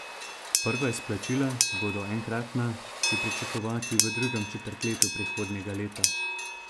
Prva izplačila, ki bodo enkratna, je pričakovati v drugem četrtletju prihodnjega leta.